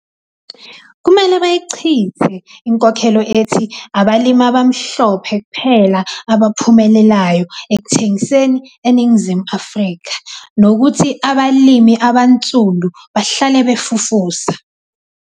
Kumele bayichithe inkolelo ethi abalimi abamhlophe kuphela abaphumelelayo ekuthengiseni eNingizimu Afrika, nokuthi abalimi abansundu bahlale 'befufusa.'